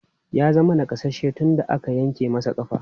Ya zama nakasasshe tun da aka yanke masa ƙafa.